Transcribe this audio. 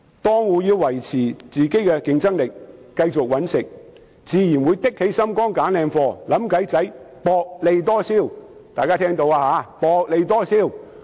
檔戶要維持競爭力和繼續謀生，自然會"扚起心肝"挑選優質貨品，想方法薄利多銷。